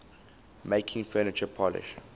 making furniture polish